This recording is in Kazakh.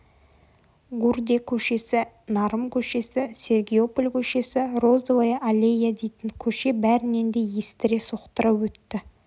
гурде көшесі нарым көшесі сергиополь көшесі розовая аллея дейтін көше бәрінен де естіре соқтыра өтті